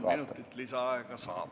Kolm minutit lisaaega saab.